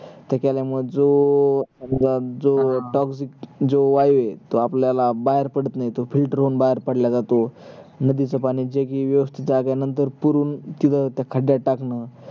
त्याच्यामुळे जो जो अं जो toxic आहे तो आपल्याला बाहेर पडत नाही तो filter होवून बाहेर पडल्या जात नदीच पाणी जे कि व्यवस्तीत आहे नंतर पुरून तिकड त्या खड्ड्यात टाकण